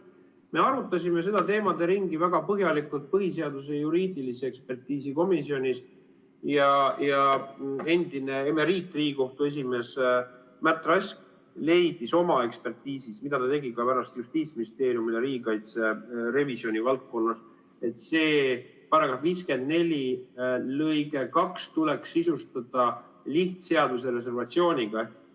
Me arutasime seda teemaderingi väga põhjalikult põhiseaduse juriidilise ekspertiisi komisjonis ja endine Riigikohtu esimees Märt Rask leidis oma ekspertiisis, mida ta tegi ka pärast Justiitsministeeriumile riigikaitse revisjoni valdkonnas, et § 54 lõige 2 tuleks sisustada lihtseaduse reservatsiooniga.